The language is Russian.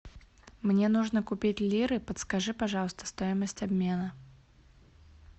мне нужно купить лиры подскажи пожалуйста стоимость обмена